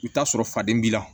I bɛ t'a sɔrɔ faden b'i la